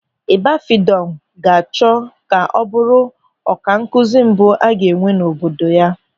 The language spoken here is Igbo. Ibafidọn ga-achọ ka ọ bụrụ ọkankụzi mbụ a ga-enwe n'obodo ya.